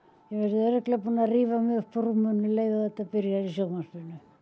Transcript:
örugglega búin að rífa mig upp úr rúminu um leið og þetta byrjar í sjónvarpinu